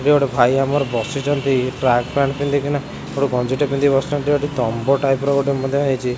ଇଏ ଗୋଟେ ଭାଇ ଆମର ବସିଛନ୍ତି ଟ୍ରାକ ପ୍ୟାଣ୍ଟ୍ ପିନ୍ଧି କିନା ଗୋଟେ ଗଞ୍ଜି ଟେ ପିନ୍ଧିିକି ବସିଛନ୍ତି ସେଠି ତମ୍ବ ଟାଇପ୍ ର ଗୋଟେ ମଧ୍ୟ ହେଛିଚି।